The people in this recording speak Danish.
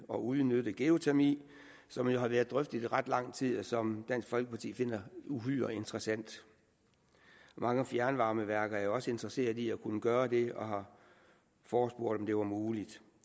og udnytte geotermi som jo har været drøftet i ret lang tid og som dansk folkeparti finder uhyre interessant mange fjernvarmeværker er jo også interesseret i at kunne gøre det og har forespurgt om det var muligt